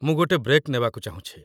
ମୁଁ ଗୋଟେ ବ୍ରେକ୍ ନେବାକୁ ଚାହୁଁଛି ।